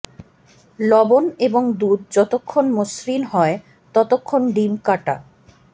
লবণ এবং দুধ যতক্ষণ মসৃণ হয় ততক্ষণ ডিম কাটা